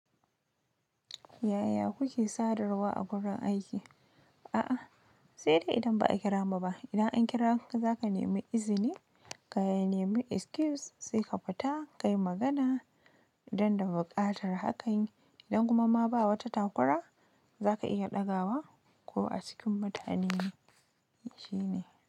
Yaya kuke sadarwa a wurin aiki? A'a, sai dai idan ba a kira mu ba. Idan an kira ka, za ka nemi izini ka yi nemi excuse sai ka fita, ka yi magana don da buƙatar hakan. Idan kuma ma ba wata takwara za ka iya ɗaga wa ko a cikin mutane shine.